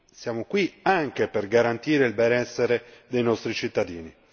siamo qui anche per garantire il benessere dei nostri cittadini.